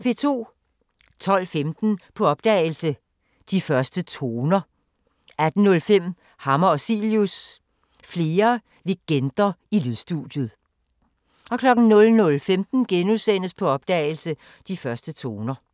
12:15: På opdagelse – De første toner 18:05: Hammer og Cilius – Flere legender i lydstudiet 00:15: På opdagelse – De første toner *